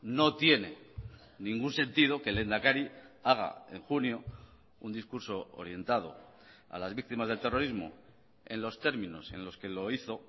no tiene ningún sentido que el lehendakari haga en junio un discurso orientado a las víctimas del terrorismo en los términos en los que lo hizo